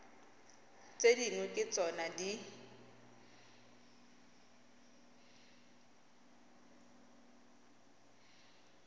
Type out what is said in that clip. tse dingwe ke tsona di